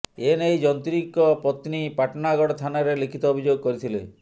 ଏ ନେଇ ଯନ୍ତ୍ରୀଙ୍କ ପତ୍ନୀ ପାଟଣାଗଡ଼ ଥାନାରେ ଲିଖିତ ଅଭିଯୋଗ କରିଥିଲେ